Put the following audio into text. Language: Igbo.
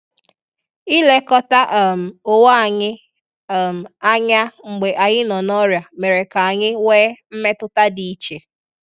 Ilekọta um onwe anyị um anya mgbe anyị nọ na-ọrịa mere ka anyị nwe mmetụta dị iche